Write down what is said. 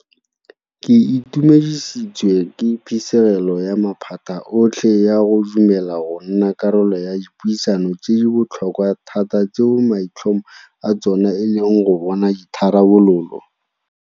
Ke itumedisitswe ke phisegelo ya maphata otlhe ya go dumela go nna karolo ya dipuisano tse di botlhokwa thata tseo maitlhomo a tsona e leng go bona ditharabololo.